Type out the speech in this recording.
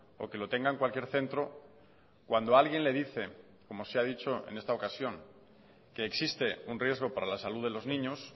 o que lo tenga en cualquier centro cuando alguien le dice como se ha dicho en esta ocasión que existe un riesgo para la salud de los niños